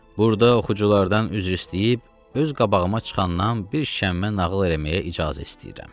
Burada oxuculardan üzr istəyib, öz qabağıma çıxandan bir şəmmə nağıl eləməyə icazə istəyirəm.